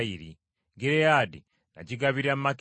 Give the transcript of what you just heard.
Gireyaadi nagigabira Makiri.